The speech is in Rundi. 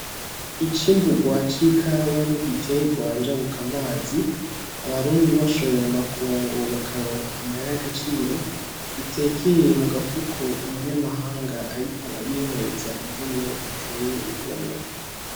Icimburwa c'ikawa n'igiterwa njabukamazi ,Abarundi bashoye muma kungu bakaronka amahera y'agaciro ,bitekeye mugafuko, umunyamahanga ariko arihweza ingene giteye igomwe